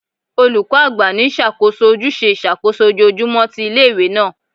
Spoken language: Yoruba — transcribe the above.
Olukọ agba ni ṣakoso awọn ojuse iṣakoso ojoojumọ ti ile-iwe naa